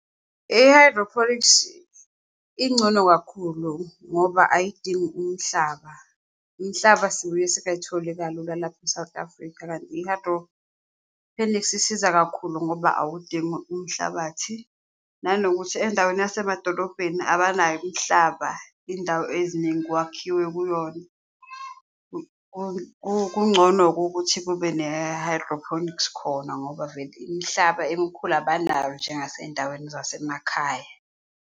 I-hydroponics ingcono kakhulu ngoba ayidingi umhlaba. Imihlaba sibuye singayitholi kalula lapha e-South Africa, kanti i-hydroponics isiza kakhulu ngoba awudingi umhlabathi, nanokuthi endaweni yasemadolobheni abanayo umhlaba, indawo eziningi kwakhiwe kuyona. Kungcono-ke ukuthi kube ne-hydroponics khona ngoba vele imihlaba emikhulu abanayo njengase yindaweni zasemakhaya.